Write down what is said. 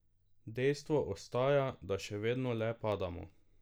Dejstvo ostaja, da še vedno le padamo.